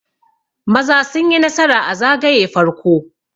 Maza sun yi nasara a zagaye farko